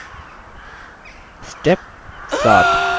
step 7 apply styles